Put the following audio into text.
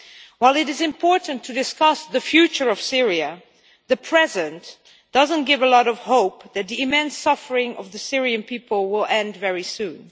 While it is important to discuss the future of Syria, the present does not give a lot of hope that the immense suffering of the Syrian people will end very soon.